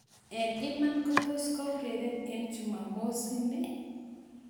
Eng iman, kotos keureren eng chumamos ni .